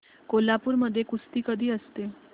कोल्हापूर मध्ये कुस्ती कधी असते